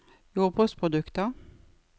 jordbruksprodukter